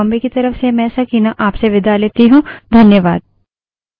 यह script देवेन्द्र कैरवान द्वारा अनुवादित है तथा आई आई टी बॉम्बे की तरफ से मैं सकीना अब आप से विदा लेती हूँ